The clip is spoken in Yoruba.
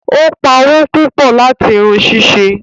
Obpá owó pupọ láti irun ṣíṣe